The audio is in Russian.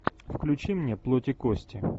включи мне плоть и кости